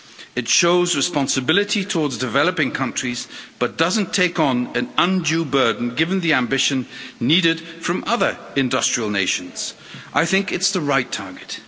It shows responsibility towards developing countries, but doesn't take on an undue burden given the ambition needed from other industrial nations. I think it's the right target.